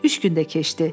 Üç gün də keçdi.